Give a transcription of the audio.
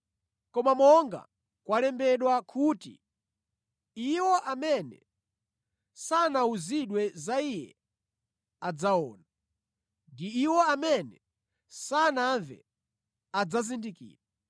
Koma monga kwalembedwa kuti, “Iwo amene sanawuzidwe za Iye adzaona, ndi iwo amene sanamve adzazindikira.”